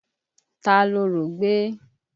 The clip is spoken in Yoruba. Ta lorò gbé?